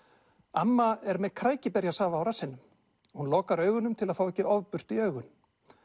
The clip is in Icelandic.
amma er með á rassinum hún lokar augunum til að fá ekki ofbirtu í augun